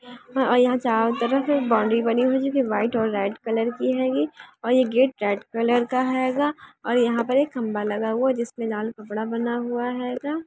ओर यहा चारों तरफ़ एक बाउंड्री बनी हुई है जो व्हाइट और रेड कलर की हेगी और ये गेट रेड कलर का हेगा और यहाँ पे एक खंबा लगा हुआ है जिसपे लाल कपड़ा बंधा हुआ हेगा।